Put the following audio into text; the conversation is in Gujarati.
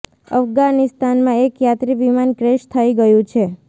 અફગાનિસ્તાનમાં એક યાત્રી વિમાન ક્રેશ થઈ ગયું છે